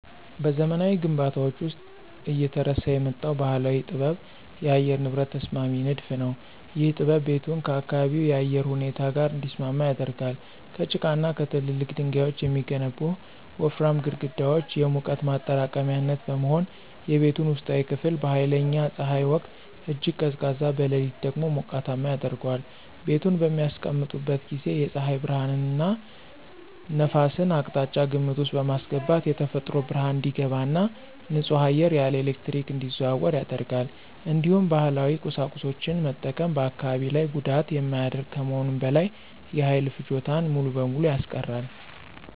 በዘመናዊ ግንባታዎች ውስጥ እየተረሳ የመጣው ባህላዊ ጥበብ የአየር ንብረት ተስማሚ ንድፍ ነው። ይህ ጥበብ ቤቱን ከአካባቢው የአየር ሁኔታ ጋር እንዲስማማ ያደርጋል። ከጭቃና ከትላልቅ ድንጋዮች የሚገነቡት ወፍራም ግድግዳዎች የሙቀት ማጠራቀሚያነት በመሆን፣ የቤቱን ውስጣዊ ክፍል በኃይለኛ ፀሐይ ወቅት እጅግ ቀዝቃዛ፣ በሌሊት ደግሞ ሞቃታማ ያደርገዋል። ቤቱን በሚያስቀምጡበት ጊዜ የፀሐይ ብርሃንንና ነፋስን አቅጣጫ ግምት ውስጥ በማስገባት የተፈጥሮ ብርሃን እንዲገባ እና ንጹህ አየር ያለ ኤሌክትሪክ እንዲዘዋወር ያደርጋል። እንዲሁም ባህላዊ ቁሳቁሶችን መጠቀም በአካባቢ ላይ ጉዳት የማያደርግ ከመሆኑም በላይ የኃይል ፍጆታን ሙሉ በሙሉ ያስቀራል።